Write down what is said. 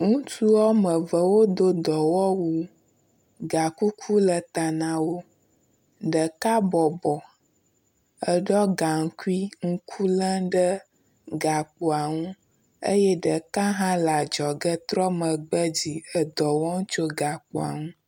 Ŋutsu woameve wodo dɔwɔwu. Gakuku le ta na wo. Ɖeka bɔbɔ, eɖɔ gaŋkui ŋku lém ɖe gakpoa nu eye ɖeka hã le adzɔge trɔ megbe dzi edɔ wɔm tso gakpoa nu.